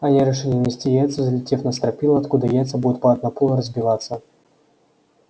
они решили нести яйца взлетев на стропила откуда яйца будут падать на пол и разбиваться